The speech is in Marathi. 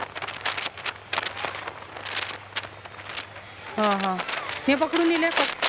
हां हां हे पकडून